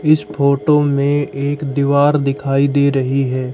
इस फोटो में एक दीवार दिखाई दे रही है।